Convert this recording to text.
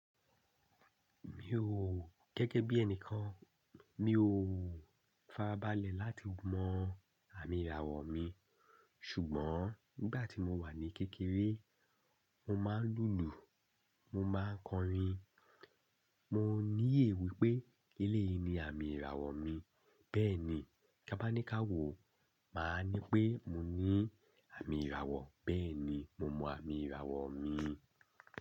Mi ò, gẹ́gẹ́ bí ẹnìkan mi ò farabalẹ̀ láti mọ àmì ìràwọ̀ mi. Ṣùgbọ́n nígbà tí mo wà ní kékeré, mo máa ń lùlù, mo máa ń kọrin. Mo níyè wípé eléyi ni àmì ìràwọ̀ mi. Bẹ́ẹ̀ni, tí a bá ní ká wò ó, máa ní pé mo ní àmì ìràwọ̀. Bẹ́ẹ̀ni, mo mọ àmì ìràwọ̀ mi.